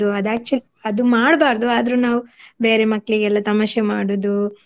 ಅದು actually ಅದು ಮಾಡ್ಬಾರ್ದು ಆದ್ರೂ ನಾವು ಬೇರೆ ಮಕ್ಳಿಗೆಲ್ಲ ತಮಾಷೆ ಮಾಡುದು